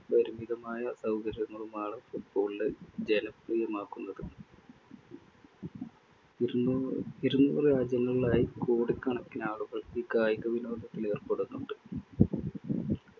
പരിമിതമായ സൗകര്യങ്ങളുമാണ് football നെ ജനപ്രിയമാക്കുന്നത് ഇരുനൂ~ ഇരുനൂറ് രാജ്യങ്ങളിലായി കോടിക്കണക്കിനാളുകൾ ഈ കായികവിനോദത്തിലേർപ്പെടുന്നുണ്ട്‌